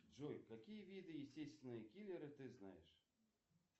джой какие виды естественные киллеры ты знаешь